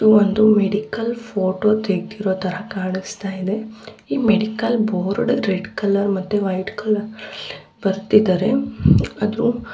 ಇದು ಒಂದು medical photo ತೆಗ್ದಿರೋ ತರ ಕಾಣುಸ್ತ ಇದೆ ಈ ಮೆಡಿಕಲ್ ಬೋರ್ಡ್ ರೆಡ್ ಕಲರ್ ಮತ್ತೆ ವೈಟ್ ಕಲರ್ ಅಲ್ಲಿ ಬರ್ದಿದಾರೆ. ಅದ್ರು--